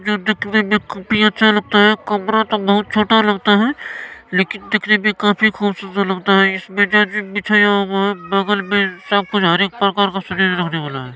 यह देखने में काफी अच्छा लगता है। कमरा तो बहुत छोटा लगता है लेकिन देखने में काफी खूबसूरत लगता है। इसमें बेडशीट बिछाया हुआ है बगल में सब कुछ हर एक प्रकार का है।